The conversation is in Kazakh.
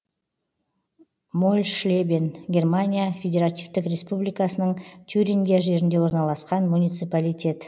мольшлебен германия федеративтік республикасының тюрингия жерінде орналасқан муниципалитет